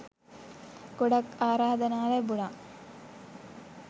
ගොඩක් ආරාධනා ලැබුණා